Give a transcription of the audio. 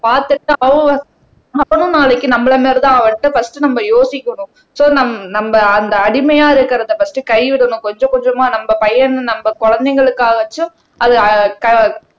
பார்த்துட்டு அவனும் நாளைக்கு நம்மளை மாதிரிதான் அவர் கிட்ட பர்ஸ்ட் நம்ம யோசிக்கணும் சோ நம் நம்ம அந்த அடிமையா இருக்கிறதை பர்ஸ்ட் கைவிடணும் கொஞ்சம் கொஞ்சமா நம்ம பையன்னு நம்ம குழந்தைகளுக்காகவாச்சும் அது